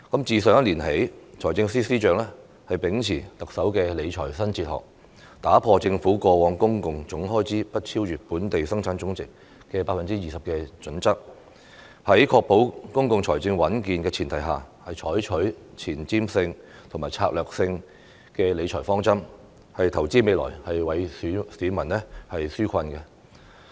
自上一年度起，財政司司長秉持特首的理財新哲學，打破政府過往公共總開支不超越本地生產總值的 20% 的準則，在確保公共財政穩健的前提下，採取前瞻性和策略性的理財方針，投資未來，為市民紓困。